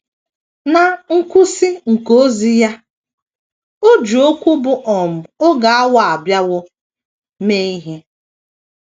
Ná ngwụsị nke ozi ya, o ji okwu bụ́ “ um oge awa abịawo ” mee ihe.